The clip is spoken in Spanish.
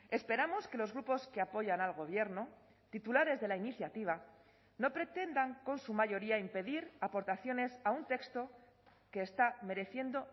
esperamos que los grupos que apoyan al gobierno titulares de la iniciativa no pretendan con su mayoría impedir aportaciones a un texto que está mereciendo